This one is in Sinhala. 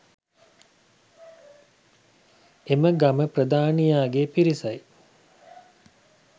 එම ගම ප්‍රධානියාගේ පිරිස